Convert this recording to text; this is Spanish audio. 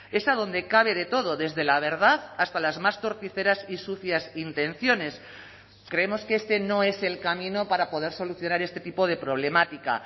esa donde cabe de todo desde la verdad hasta las más torticeras y sucias intenciones creemos que este no es el camino para poder solucionar este tipo de problemática